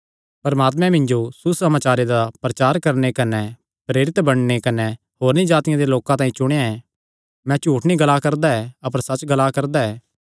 परमात्मे मिन्जो सुसमाचारे दा प्रचार करणे कने प्रेरित बणने तांई कने होरनी जातिआं दे लोकां तांई चुणेया ऐ मैं झूठ नीं ग्ला करदा ऐ अपर सच्च ग्ला करदा ऐ